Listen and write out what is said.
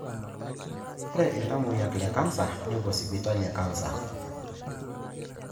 Ore iltamoyiak le cancer nepuo sipitali e cancer.